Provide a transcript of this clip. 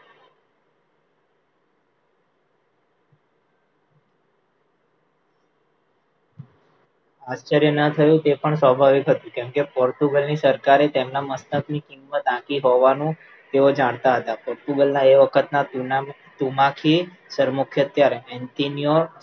આચાર્યના થયું તે પણ સ્વાભાવિક હતું કેમકે પોર્ટુગલની સરકારે તેમના મસ્તકની કિંમત આપી હોવાનું તેઓ જાણતા હતા. પોર્ટુગલ એ વખત ના તુનામી તુમાખી તરમુખ હત્યારા જૉર્ડેઇયેંન્યોર